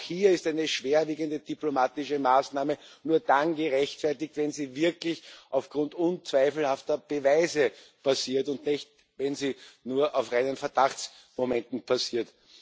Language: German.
Aber auch hier ist eine schwerwiegende diplomatische Maßnahme nur dann gerechtfertigt, wenn sie wirklich aufgrund unzweifelhafter Beweise passiert, und nicht, wenn sie nur auf reinen Verdachtsmomenten basiert.